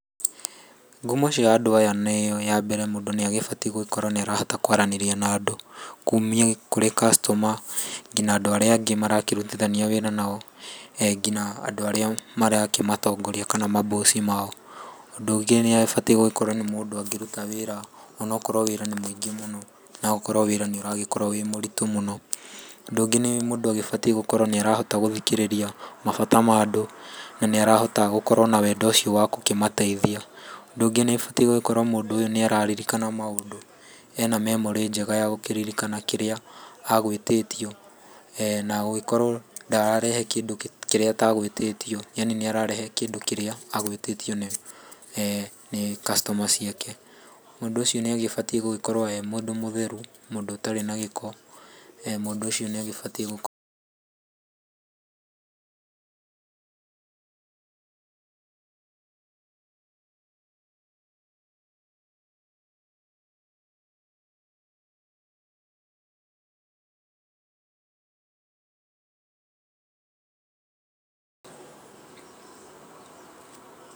Ngumo cia andũ aya yambere mũndũ nĩ agĩbatiĩ gũgĩkorwo nĩ arahota kwaranĩria na andũ kumia kũrĩ customer nginya andũ arĩa angĩ marakĩrutithania wĩra nao. Nginya andũ arĩa marakĩmatongoria kana ma boss mao. Ũndũ ũngĩ nĩ abatiĩ gũkorwo nĩ mũndũ ũngĩruta wĩra ona okorwo wĩra nĩ mũingĩ mũno no ũkorwo wĩra nĩ ũragĩkorwo wĩ mũritũ mũno. Ũndũ ũngĩ nĩ mũndũ agĩbatiĩ gũkorwo nĩarahota gũthikĩrĩria mabata ma andũ na nĩarahota gũkorwo na wendo ũcio wa gũkĩmateithia. Ũndũ ũngĩ nĩ ũbatiĩ gũgĩkorwo mũndũ ũyũ nĩ arakĩririkana maũndũ ena memory njega ya gũkĩririkana kĩrĩa agwĩtĩtio na gũgĩkorwo ndarerehe kĩndũ kĩrĩa atagwĩtĩtio, yaani nĩ ararehe kĩndũ kĩrĩa agũĩtĩtio nĩ customer ciake. Mũndũ ũcio nĩ agĩbatiĩ gũgĩkorwo e mũndũ mũtheru, mũndũ ũtarĩ na gĩko, mũndũ ũcio nĩ agĩbatiĩ gũ...